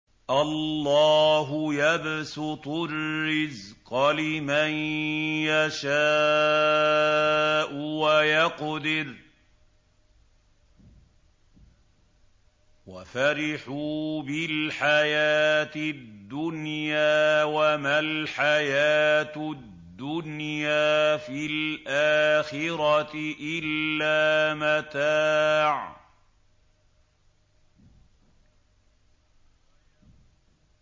اللَّهُ يَبْسُطُ الرِّزْقَ لِمَن يَشَاءُ وَيَقْدِرُ ۚ وَفَرِحُوا بِالْحَيَاةِ الدُّنْيَا وَمَا الْحَيَاةُ الدُّنْيَا فِي الْآخِرَةِ إِلَّا مَتَاعٌ